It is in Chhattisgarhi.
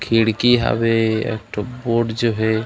खिड़की हवे एकठो बोर्ड जो हे।